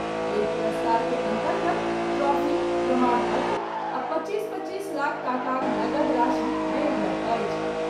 एहि पुरस्कार के अन्तर्गत ट्रॉफी, प्रमाण पत्र आ पच्चीस पच्चीस लाख टाकाक नगद राशि देल जायत अछि।